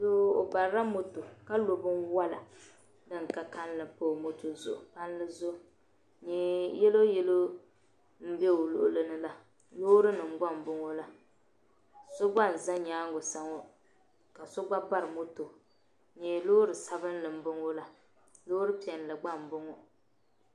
Doo ɔ barila mɔtɔ ka lɔ bɛnwala din ka kalinli n pa ɔmɔtɔ zuɣu, ni yelɔw yelɔw n be ɔluɣili ni la, lɔɔri nim gba n bɔŋɔ la so gba n za nyaaŋa sa, ŋɔ. kaso gba bari mɔtɔ n nyɛ lɔɔri sabinli n bɔŋɔ la lɔɔri piɛli gba nbɔŋɔ